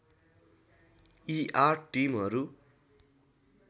यी आठ टिमहरू